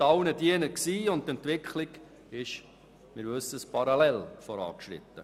Damit war allen gedient und die Entwicklung ist parallel vorangeschritten.